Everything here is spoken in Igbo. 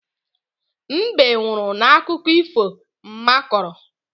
Mbe nwụrụ n'akụkọ ifo mma kọrọ.